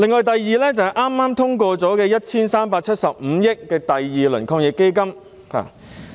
第二，就是剛剛通過的 1,375 億元防疫抗疫基金第二輪撥款。